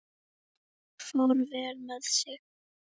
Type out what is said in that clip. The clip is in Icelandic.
Fór vel með sig.